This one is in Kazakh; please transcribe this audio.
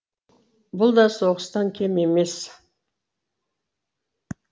бұл да соғыстан кем емес